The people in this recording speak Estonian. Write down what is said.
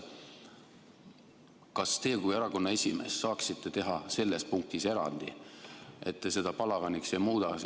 Kas teie kui erakonna esimees saaksite teha selles punktis erandi, et te seda palaganiks ei muuda?